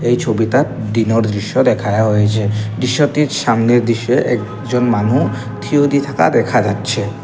এই ছবিতাত দিনোর দৃশ্য দেখায়ো হয়েছে দিশ্যতির সামনের দিশ্যে একজন মানু থিওদি থাকা দেখা যাচ্ছে।